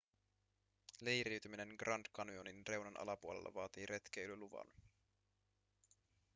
leiriytyminen grand canyonin reunan alapuolella vaatii retkeilyluvan